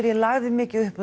ég lagði mikið upp